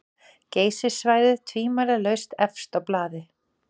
Geysissvæðið tvímælalaust efst á blaði.